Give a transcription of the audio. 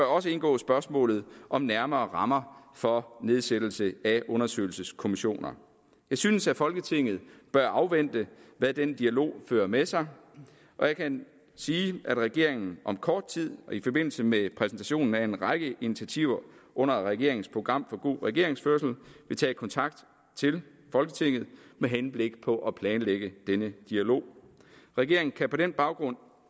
også indgå spørgsmålet om nærmere rammer for nedsættelse af undersøgelseskommissioner jeg synes at folketinget bør afvente hvad den dialog fører med sig og jeg kan sige at regeringen om kort tid i forbindelse med præsentationen af en række initiativer under regeringens program for god regeringsførelse vil tage kontakt til folketinget med henblik på at planlægge denne dialog regeringen kan på den baggrund